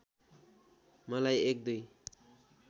मलाई एक दुई